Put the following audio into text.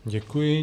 Děkuji.